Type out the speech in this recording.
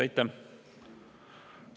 Aitäh!